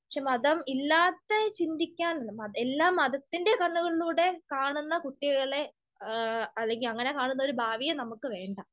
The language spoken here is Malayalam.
പക്ഷെ മതം ഇല്ലാത്തെ ചിന്തിക്കാൻ ഉണ്ട്. എല്ലാം മതത്തിൻ്റെ കണ്ണുകളിലൂടെ കാണുന്ന കുട്ടികളെ, അല്ലെങ്കിൽ അങ്ങിനെ കാണുന്ന ഒരു ഭാവിയെ നമുക്ക് വേണ്ട.